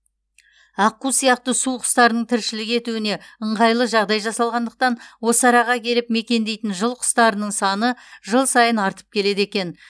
аққу сияқты су құстарының тіршілік етуіне ыңғайлы жағдай жасалғандықтан осы араға келіп мекендейтін жыл құстарының саны жыл сайын артып келеді екен